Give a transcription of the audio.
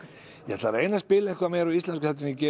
ég ætla að reyna spila meira íslenskt en ég geri